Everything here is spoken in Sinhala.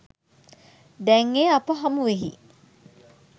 දැන් එය අප හමුවෙහි